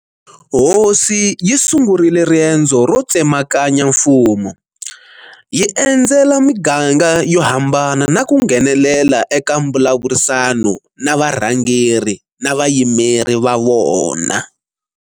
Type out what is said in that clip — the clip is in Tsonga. Hosi yi sungurile riendzo ro tsemakanya mfumo, yi endzela miganga yo hambana na ku nghenelela eka mbulavurisano na varhangeri na vayimeri va vona.